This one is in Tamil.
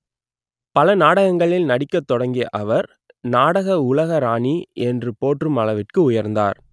பல நாடகங்களில் நடிக்கத் தொடங்கிய அவர் நாடக உலக ராணி என்று போற்றும் அளவிற்கு உயர்ந்தார்